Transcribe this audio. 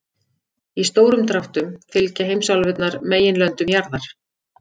Í stórum dráttum fylgja heimsálfurnar meginlöndum jarðar.